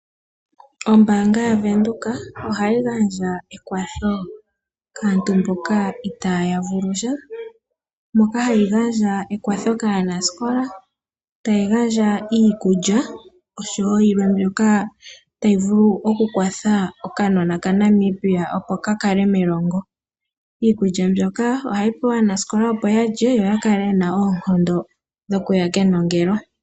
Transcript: Ombaanga yaVenduka oha yi gandja ekwatho kaantu mboka itaa yavulusha, moka hayi gandja ekwatho kaanasikola, ta yi gandja iikulya osho woo yilwe mbyoka ta yivulu oku kwatha okanona kaNamibia opo ka kale melongo. Iikulya mbyoka oha yi pewa aanasikola opo yalye yo yakale yena oonkondo dho kuya kenongelo.